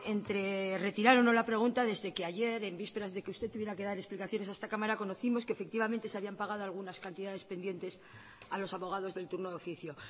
entre retirar o no la pregunta desde que ayer en vísperas de que usted tuviera que dar explicaciones a esta cámara conocimos que efectivamente se habían pagado algunas cantidades pendientes a los abogados del turno de oficio